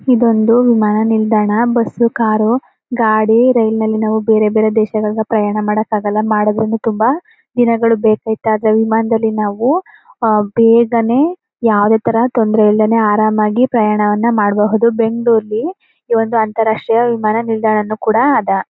ಇದೊಂದು ವಿಮಾನ ನಿಲ್ದಾಣ ಇದು ಬಸ್ಸು ಕಾರು ಗಾಡಿ ರೈಲಿನಲ್ಲಿ ನಾವು ಬೇರೆ ಬೇರೆ ದೇಶಗಳ ಪ್ರಯಾಣ ಮಾಡಕ್ಕಾಗಲ್ಲ ಮಾಡಿದ್ರೂನು ತುಂಬಾ ದಿನಗಳು ಬೇಕು ವಿಮಾನದಲ್ಲಿ ನಾವು ಬೇಗನೆ ಯಾವುದೇ ತರಹದ ತೊಂದರೆ ಇಲ್ಲದೇನೆ ಆರಾಮಾಗಿ ಪ್ರಯಾಣ ವನ್ನ ಮಾಡಬಹುದು ಇದು ಬೆಂಗಳೂರ್ಲಿ ಈವೊಂದು ಅಂತರಾಷ್ಟ್ರೀಯ ವಿಮಾನ ನಿಲ್ದಾಣನೂ ಕೂಡ ಅದ.